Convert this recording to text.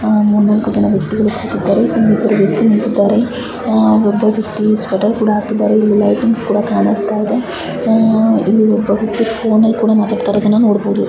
ಮೂರ್ನಾಲ್ಕು ಜನ ವ್ಯಕ್ತಿ ಗಳು ಕೂತಿದ್ದಾರೆ ಒಬ್ಬ ವ್ಯಕ್ತಿ ನಿಂತುಕೊಂಡಿ ಒಬ್ಬ ಸ್ವೆಟರ್ ಕೂಡ ಹಾಕಿದ್ದಾರೆ ಎಲ್ಲಿ ಲೈಟಿಂಗ್ಸ್ ಕೂಡ ಕಾಣಬಹುದು ಮ್ಮ್ ಇಲ್ಲಿ ಒಬ್ಬ ವ್ಯಕ್ತಿ ಫೋನ್ನಲ್ಲಿ ಮಾತಾಡ್ತಿದಾನೆ.